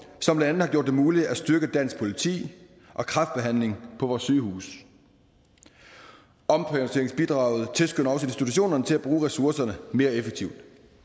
som blandt andet har gjort det muligt at styrke dansk politi og kræftbehandling på vores sygehuse omprioriteringsbidraget tilskynder også institutionerne til at bruge ressourcerne mere effektivt